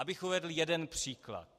Abych uvedl jeden příklad.